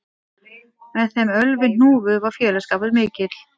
Með þeim Ölvi hnúfu var félagsskapur mikill